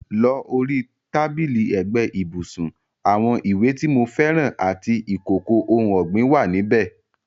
Ló rí tábìlì ẹ́gbẹ ibùsùn, àwon ìwé ti mo fẹ́ràn àti ìkòkò oun ọ́gbìn wa níbẹ̀